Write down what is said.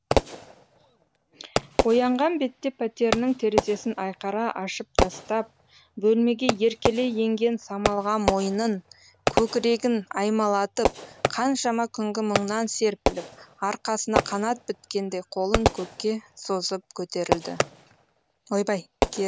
оянған бетте пәтерінің терезесін айқара ашып тастап бөлмеге еркелей енген самалға мойнын көкірегін аймалатып қаншама күнгі мұңнан серпіліп арқасына қанат біткендей қолын көкке созып керілді